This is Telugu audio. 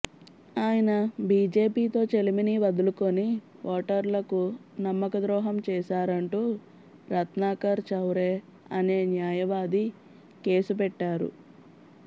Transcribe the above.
ఆయన బీజేపీతో చెలిమిని వదులుకుని ఓటర్లకు నమ్మక ద్రోహం చేశారంటూ రత్నాకర్ చౌరే అనే న్యాయవాది కేసు పెట్టారు